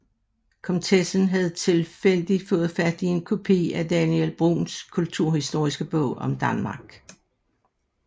Komtessen havde tilfældigt fået fat i en kopi af Daniel Bruuns kulturhistoriske bog om Danmark